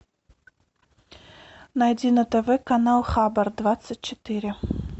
найди на тв канал хабар двадцать четыре